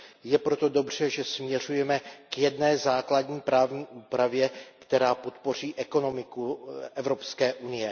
Je proto dobře, že směřujeme k jedné základní právní úpravě, která podpoří ekonomiku EU.